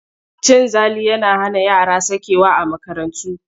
Cin zali yana hana yara sakewa a makarantu.